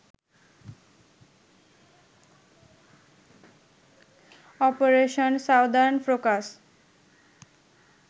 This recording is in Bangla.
operation southern focus